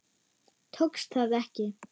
Tókst það ekki.